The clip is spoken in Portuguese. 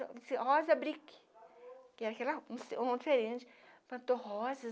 Eu disse, rosa bric, que era aquela, um nome diferente, plantou rosas.